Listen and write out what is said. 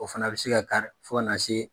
O fana bɛ se ka kari fo kana se